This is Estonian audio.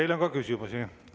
Teile on ka küsimusi.